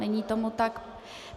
Není tomu tak.